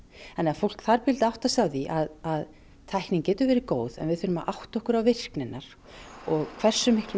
fólk þarf að átta sig á því að tæknin getur verið góð en við þurfum að átta okkur á virkni hennar og hversu miklar